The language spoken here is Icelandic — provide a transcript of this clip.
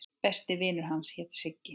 Besti vinur hans hét Siggi.